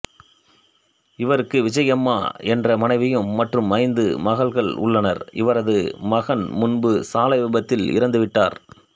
இவருக்கு விஜயாம்மா என்ற மனைவியும் மற்றும் ஐந்து மகள்கள் உள்ளனர் இவரது மகன் முன்பு சாலை விபத்தில் இறந்துவிட்டார்